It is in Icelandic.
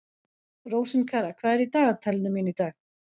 Rósinkara, hvað er í dagatalinu mínu í dag?